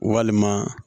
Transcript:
Walima